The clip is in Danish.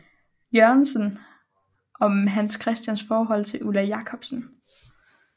Jørgensen om Hans Christians forhold til Ulla Jacobsen